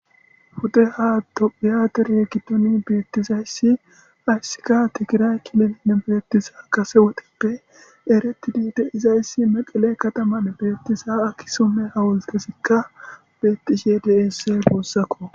Pudeha tophiya dere giddoni beettizayssi hayssika tigiraye kililene beettiza kase wodippe erettidi de'izayssi meqele kataman beettiza akkusume hawultezikka bettishe deese guussakko